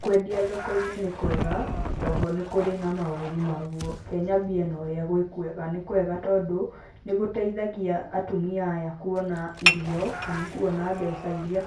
Kwendia thoko-inĩ nĩ kwega, oho nĩ kũrĩ na maũru maguo. Ke nyambie na ũrĩa gwĩ kwega. Nĩ kwega tondũ nĩ gũteithagia atumia aya kuona irio kana kuona mbeca iria